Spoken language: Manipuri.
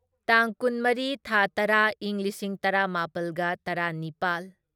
ꯇꯥꯡ ꯀꯨꯟꯃꯔꯤ ꯊꯥ ꯇꯔꯥ ꯢꯪ ꯂꯤꯁꯤꯡ ꯇꯔꯥꯃꯥꯄꯜꯒ ꯇꯔꯥꯅꯤꯄꯥꯜ